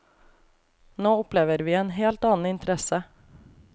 Nå opplever vi en helt annen interesse.